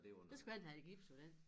Så skulle han have gips på den